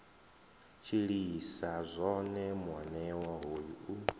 tshilisa zwone muanewa hoyu u